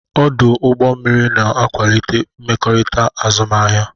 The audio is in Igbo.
Ọdụ ụgbọ mmiri na-akwalite mmekọrịta azụmahịa.